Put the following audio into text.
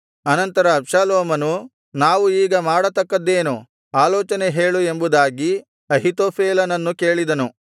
ಅನಂತರ ಅಬ್ಷಾಲೋಮನು ನಾವು ಈಗ ಮಾಡತಕ್ಕದ್ದೇನು ಆಲೋಚನೆ ಹೇಳು ಎಂಬುದಾಗಿ ಅಹೀತೋಫೆಲನನ್ನು ಕೇಳಿದನು